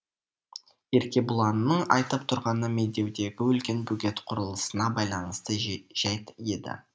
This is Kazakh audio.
еркебұланның айтып тұрғаны медеудегі үлкен бөгет құрылысына байланысты жәйт еді